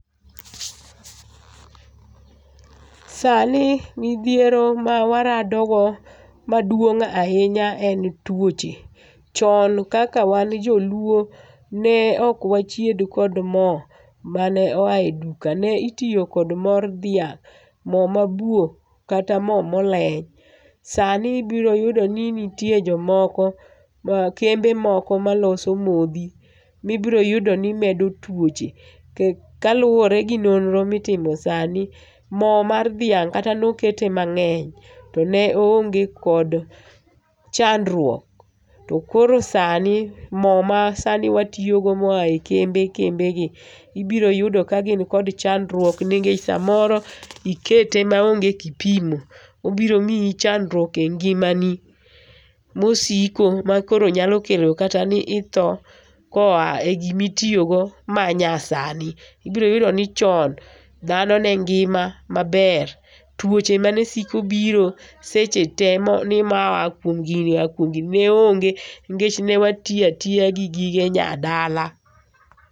Sani midhiero ma waradogo maduong' ahinya en tuoche. Chon kaka wan joluo ne ok wachied kod mo mane oa e duka ne itiyo kod mor dhiang' mo mabuo kata mo moleny, sani ibiro yudo ni nitie jomoko ma kembe moko maloso modhi mibiro yudo ni medo tuoche kaluwore gi nonro mitimo sani mo mar dhianhg' kata nokete mang'eny to ne oonge kod chandruok to koro sani mo mar sani watiyo go moa e kembe kembegi ibiro yudo kagin kod chandruok nikech samoro ikete maonge kiimo obiro miyi chandruok kendo e ngimani mosiko ma koro nyalo kelo kata ni itho koa e gima itiyogo manyasani. Ibiro yudo ni chon dhano ne ngima maber tuoche mane siko biro seche tee mani nimar moa gini oa kuom gini neonge nikech ne watiyo atiya gi gige nyadala.